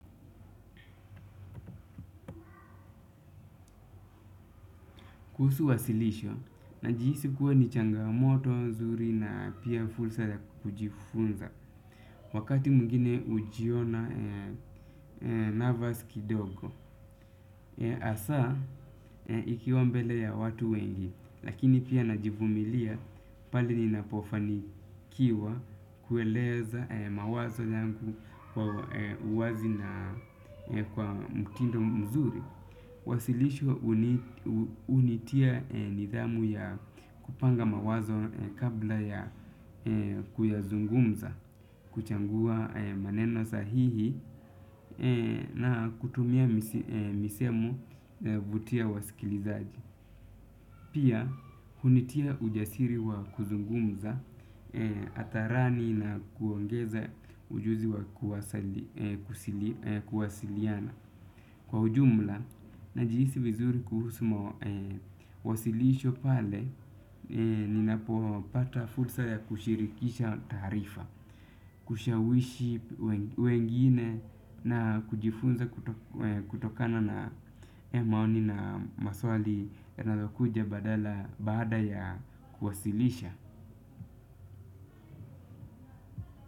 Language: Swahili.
Kuhusu wasilisho, najihisi kuwa ni changamoto nzuri na pia fursa ya kujifunza. Wakati mwingine hujiona nervous kidogo. Hasaa, ikiwa mbele ya watu wengi. Lakini pia najivumilia pale ninapofanikiwa kueleza mawazo yangu kwa uwazi na kwa mtindo mzuri. Wasilisho hunitia nidhamu ya kupanga mawazo kabla ya kuyazungumza, kuchagua maneno sahihi na kutumia misemo huvutia wasikilizaji. Pia, hunitia ujasiri wa kuzungumza hadharani na kuongeza ujuzi wa kuwasiliana. Kwa ujumla, najihisi vizuri kuhusu wasilisho pale, ninapopata fursa ya kushirikisha taarifa, kushawishi wengine na kujifunza kutokana na maoni na maswali yanayokuja baada ya kuwasilisha.